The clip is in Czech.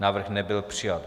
Návrh nebyl přijat.